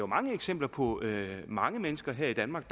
mange eksempler på mange mennesker her i danmark